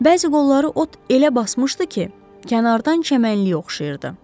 Bəzi qolları ot elə basmışdı ki, kənardan çəmənliyə oxşayırdı.